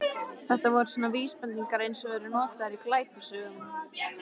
Þetta voru svona vísbendingar eins og eru notaðar í glæpasögum.